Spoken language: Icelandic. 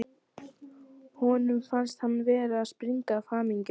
Honum fannst hann vera að springa af hamingju.